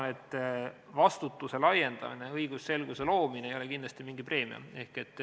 Ma arvan, et vastutuse laiendamine ja õigusselguse loomine ei ole kindlasti mingi preemia.